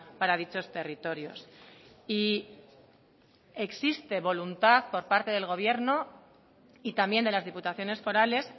para dichos territorios y existe voluntad por parte del gobierno y también de las diputaciones forales